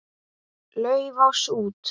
Laufás út.